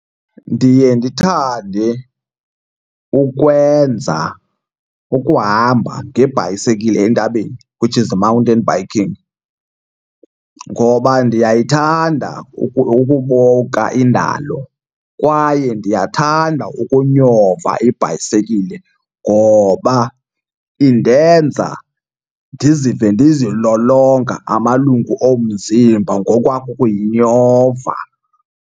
Ndiye ndithande ukwenza ukuhamba ngebhayisekile entabeni, which is mountain biking. Ngoba ndiyayithanda ukubuka indalo kwaye ndiyathanda ukunyova ibhayisekile ngoba indenza ndizive ndizilolonga amalungu omzimba ngokwakuyinyova.